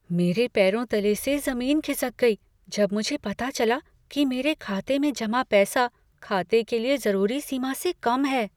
मेरे पैरों तले से जमीन खिसक गई जब मुझे पता चला कि मेरे खाते में जमा पैसा खाते के लिए जरूरी सीमा से कम है।